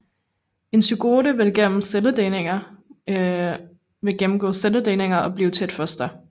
En zygote vil gennemgå celledelinger og blive til et foster